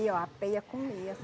a peia comia.